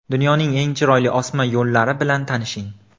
Dunyoning eng chiroyli osma yo‘llari bilan tanishing .